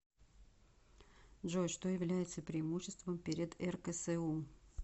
джой что является преимуществом перед рксу